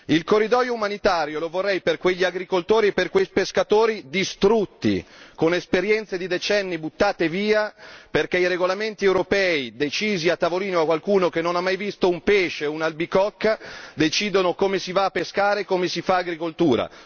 Il corridoio umanitario lo vorrei per quegli agricoltori e per quei pescatori distrutti, con esperienze di decenni buttate via, perché i regolamenti europei, decisi a tavolino da qualcuno che, pur non avendo mai visto un pesce o un'albicocca, decide come si va a pescare, come si fa agricoltura.